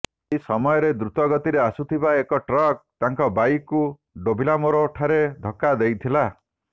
ଏହି ସମୟରେ ଦ୍ରୁତଗତିରେ ଆସୁଥିବା ଏକ ଟ୍ରକ୍ ତାଙ୍କ ବାଇକ୍କୁ ଡେଭିଲାମୋର ଠାରେ ଧକ୍କା ଦେଇଥିଲା